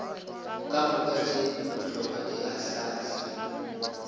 kamoka tše bohlokwa di ahlaahlilwe